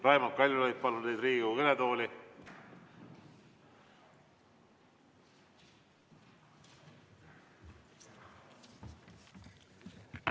Raimond Kaljulaid, palun teid Riigikogu kõnetooli!